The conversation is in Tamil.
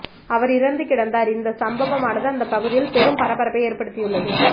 அவர் இறந்து கிடந்தார்இந்த சம்பவமானது அந்த பகுதியில் பெரும் பரபரப்பை ஏற்படுத்தியுள்ளது